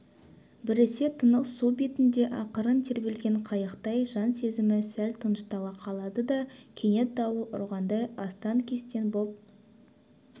біресе тынық су бетінде ақырын тербелген қайықтай жан сезімі сәл тыныштала қалады да кенет дауыл ұрғандай астан-кестен боп